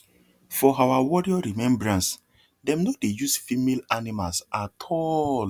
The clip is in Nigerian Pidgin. for our warrior remembrance dem no dey use female animals at all